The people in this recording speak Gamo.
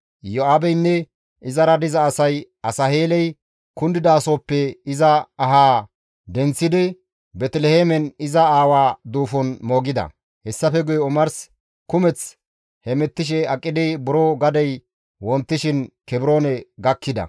Iyo7aabeynne izara diza asay Asaheeley kundidasohoppe iza ahaa denththidi Beeteliheemen iza aawa duufon moogida. Hessafe guye omars kumeth hemettishe aqidi buro gadey wontishin Kebroone gakkida.